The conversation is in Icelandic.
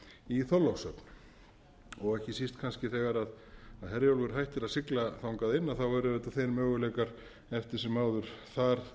í þorlákshöfn og ekki síst kannski þegar herjólfur hættir að sigla þangað inn eru auðvitað þeir möguleikar eftir sem áður þar